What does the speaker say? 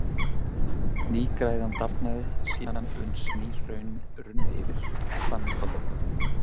Nýgræðan dafnaði síðan uns ný hraun runnu yfir, og þannig koll af kolli.